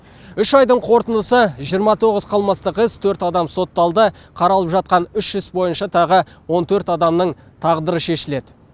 үш айдың қорытындысы жиырма тоғыз қылмыстық іс төрт адам сотталды қаралып жатқан үш іс бойынша тағы он төрт адамның тағдыры шешіледі